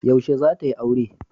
Yaushe zata yi aure?